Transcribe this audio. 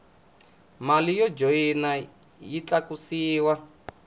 mali yo joyina yi tlakusiwa